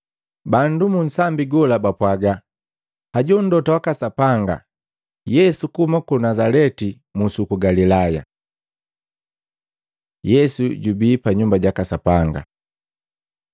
Bandu munsambi gola bapwaga, “Hajo mlota waka Sapanga, Yesu kuhuma ku Nazaleti musi uku Galilaya.” Yesu jubii pa Nyumba jaka Sapanga Maluko 11:15-19; Luka 19:45-48; Yohana 2:13-22